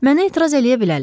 Mənə etiraz eləyə bilərlər.